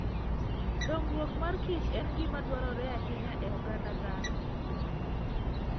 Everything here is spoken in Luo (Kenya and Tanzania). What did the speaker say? Dongruok mag kich en gima dwarore ahinya e oganda dhano.